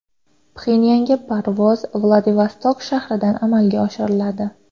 Pxenyanga parvoz Vladivostok shahridan amalga oshiriladi.